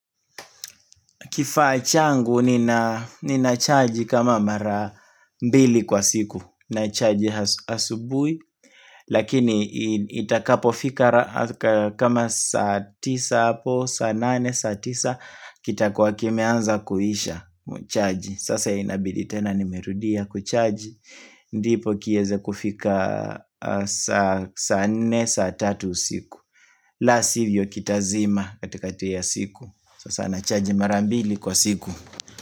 Kifaa changu ni na chaji kama mara mbili kwa siku. Na chaji asubui. Lakini itakapo fika kama saa tisa hapo, saa nane, saa tisa. Kitakuwa kimeanza kuisha chaji. Sasa inabidi tena nimerudia kuchaji ndipo kieze kufika saa nne, saa tatu siku. La sivyo kitazima kati kati ya siku. Sasa nachaji mara mbili kwa siku.